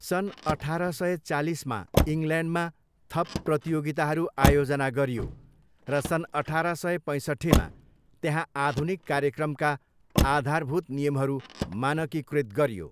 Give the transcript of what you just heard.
सन् अठार सय चालिसमा इङ्ग्ल्यान्डमा थप प्रतियोगिताहरू आयोजना गरियो र सन् अठार सय पैसट्ठीमा त्यहाँ आधुनिक कार्यक्रमका आधारभूत नियमहरू मानकीकृत गरियो।